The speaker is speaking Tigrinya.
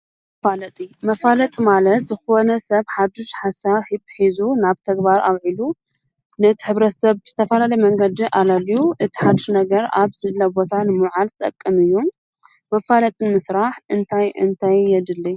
መፋለጢ ማለት ዝኾነ ሰብ ሓድሽ ሓሳብ ሒዙ ናብ ተግባር አዉዒሉ ነቲ ሕብረተሰብ ብዝተፈላለዪ መንገዲ አለልዪ እቲ ሓዱሽ ነገር አብ ዘሎ ቦታ ንምዉዓልዝጠቅም እዪ ።መፋለጢ ንምስራሕ እንታይ እንታይ የድሊ?